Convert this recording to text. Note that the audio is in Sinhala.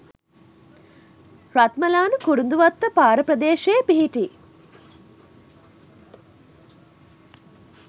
රත්මලාන කුරුඳුවත්ත පාර ප්‍රදේශයේ පිහිටි